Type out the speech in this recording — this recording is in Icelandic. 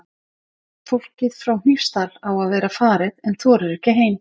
Fólkið frá Hnífsdal á að vera farið en þorir ekki heim.